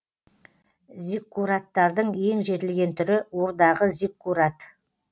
зиккураттардың ең жетілген түрі урдағы зиккурат